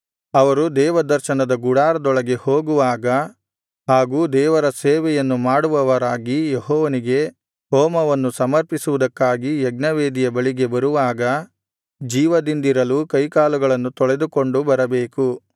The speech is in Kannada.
ಅವರು ದೇವದರ್ಶನದ ಗುಡಾರದೊಳಗೆ ಹೋಗುವಾಗ ಹಾಗೂ ದೇವರ ಸೇವೆಯನ್ನು ಮಾಡುವವರಾಗಿ ಯೆಹೋವನಿಗೆ ಹೋಮವನ್ನು ಸಮರ್ಪಿಸುವುದಕ್ಕಾಗಿ ಯಜ್ಞವೇದಿಯ ಬಳಿಗೆ ಬರುವಾಗ ಜೀವದಿಂದಿರಲು ಕೈಕಾಲುಗಳನ್ನು ತೊಳೆದುಕೊಂಡು ಬರಬೇಕು